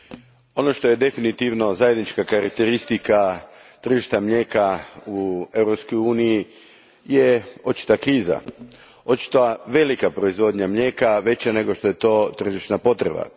Gospodine predsjedniče, ono što je definitivno zajednička karakteristika tržišta mlijeka u Europskoj uniji je očita kriza. Očita velika proizvodnja mlijeka, veća nego što je to tržišna potreba.